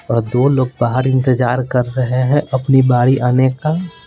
और दो लोग बाहर इंतजार कर रहे हैं अपनी बारी आने का--